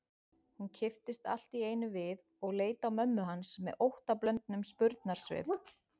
Hún kipptist allt í einu við og leit á mömmu hans með óttablöndnum spurnarsvip.